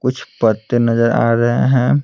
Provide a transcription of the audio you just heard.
कुछ पत्ते नजर आ रहे हैं।